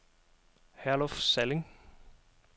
Herluf Salling